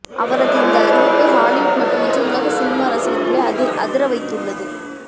அவரது இந்த அறிவிப்பு ஹாலிவுட் மட்டுமின்றி உலக சினிமா ரசிகர்களை அதிர வைத்துள்ளது